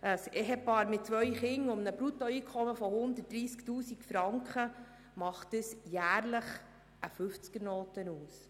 Bei einem Ehepaar mit zwei Kindern und einem Bruttoeinkommen von 130 000 Franken macht das jährlich eine Fünfzigernote aus.